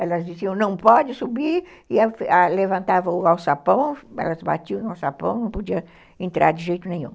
Elas diziam, não pode subir, e levantavam o alçapão, elas batiam no alçapão, não podia entrar de jeito nenhum.